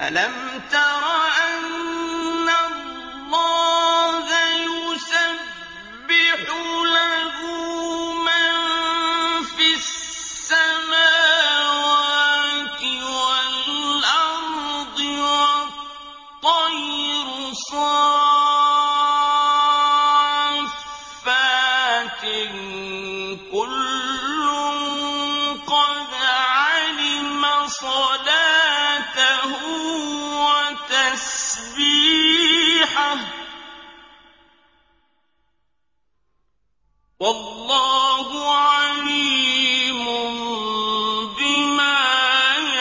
أَلَمْ تَرَ أَنَّ اللَّهَ يُسَبِّحُ لَهُ مَن فِي السَّمَاوَاتِ وَالْأَرْضِ وَالطَّيْرُ صَافَّاتٍ ۖ كُلٌّ قَدْ عَلِمَ صَلَاتَهُ وَتَسْبِيحَهُ ۗ وَاللَّهُ عَلِيمٌ بِمَا